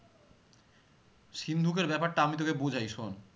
সিন্ধুকের ব্যাপারটা আমি তোকে বোঝাই শোন